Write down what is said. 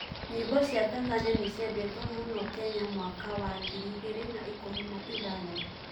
Nyĩmbo cia Tanzania nĩciendetwo mũno Kenya mwaka wa ngiri igĩrĩ na ikũmi na ithathatũ